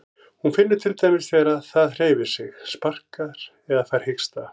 Hún finnur til dæmis þegar það hreyfir sig, sparkar eða fær hiksta.